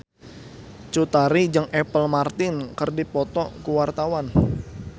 Cut Tari jeung Apple Martin keur dipoto ku wartawan